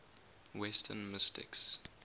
western mystics